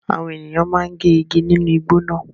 Àwọn ènìyàn máa ń gé igi nínú igbó náà.